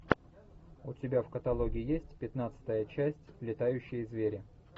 у тебя в каталоге есть пятнадцатая часть летающие звери